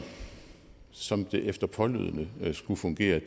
som det efter pålydende skulle fungere